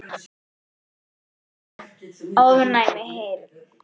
ofnæm heyrn